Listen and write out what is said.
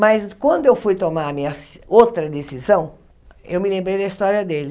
Mas quando eu fui tomar a minha se outra decisão, eu me lembrei da história dele.